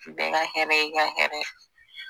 Bɛɛ ka hɛrɛ y'i ka hɛrɛ ye.